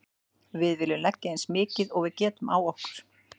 Við viljum leggja eins mikið og við getum á okkur.